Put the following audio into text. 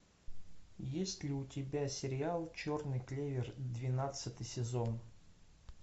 есть ли у тебя сериал черный клевер двенадцатый сезон